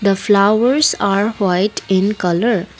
the flowers are white in colour.